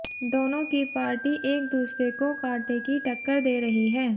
दोनों की पार्टी एक दूसरे को कांटे की टक्कर दे रही हैं